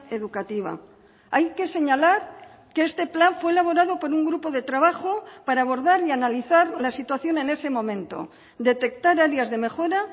educativa hay que señalar que este plan fue elaborado por un grupo de trabajo para abordar y analizar la situación en ese momento detectar áreas de mejora